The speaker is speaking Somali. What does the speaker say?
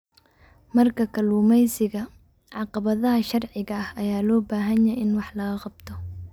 Marka kalluumeysiga, caqabadaha sharciga ah ayaa loo baahan yahay in wax laga qabto.